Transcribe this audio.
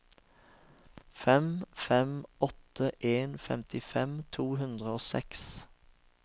fem fem åtte en femtifem to hundre og seks